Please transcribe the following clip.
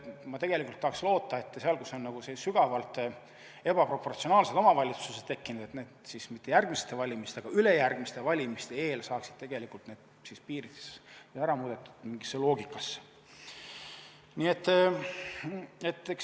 Ma tahaksin loota, et seal, kus on sügavalt ebaproportsionaalsed omavalitsused tekkinud, me mitte järgmiste valimistega, vaid ülejärgmiste valimiste eel saaksime need piirid ära muudetud mingi loogika järgi.